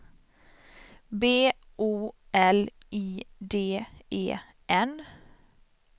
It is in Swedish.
B O L I D E N